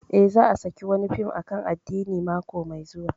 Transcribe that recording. Eh, za a saki wani fim akan addini mako mai zuwa